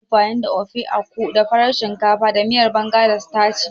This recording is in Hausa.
Akan yi amfani da Ofe Akwu da farar shinkafa, sai miyar Banga da sitaci.